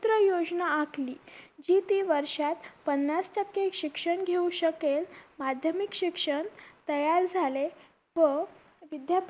योजना आखली जी ती वर्षात पन्नास टक्के शिक्षण घेऊ शकेल माध्यमिक शिक्षण तयार झाले व